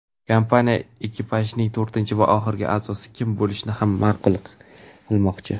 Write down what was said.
kompaniya ekipajning to‘rtinchi va oxirgi a’zosi kim bo‘lishini ham ma’lum qilmoqchi.